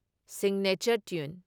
signature tune